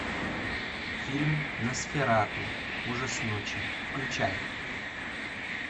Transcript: фильм носферату ужас ночи включай